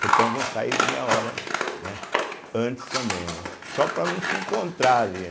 Portanto, vão sair meia hora, né antes também, né só para não se encontrar ali.